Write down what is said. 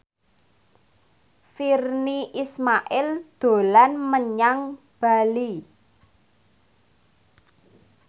Virnie Ismail dolan menyang Bali